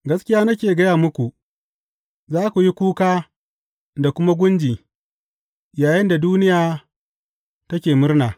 Gaskiya nake gaya muku, za ku yi kuka da kuma gunji, yayinda duniya take murna.